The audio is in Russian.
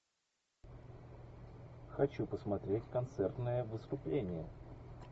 хочу посмотреть концертное выступление